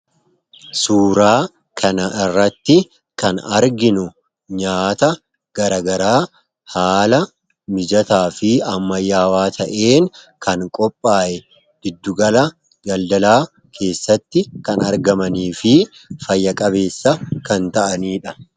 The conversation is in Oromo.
Suuraa kana irratti kan arginu nyaata garagaraa haala mijataa fi ammayyaawaa ta'een kan qophaa'e giddugala daldalaa keessatti kan argamanii fi fayya-qabeessa kan ta'aniidha.